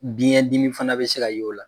Biɲɛ dimi fana bɛ se ka y'o la.